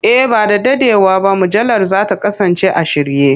E, ba da daɗewa ba mujallar za ta kasance a shirye.